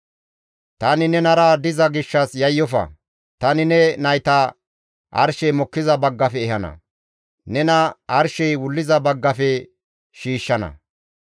«Tani nenara diza gishshas yayyofa; tani ne nayta arshey mokkiza baggafe ehana; nena arshey wulliza baggafe shiishshana.